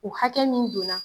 O hakɛ min donna